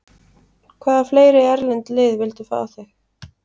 Hvaða fleiri erlend lið vildu fá þig?